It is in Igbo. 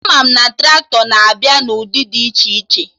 Ama m na Traktọ na-abịa na ụdị dị iche iche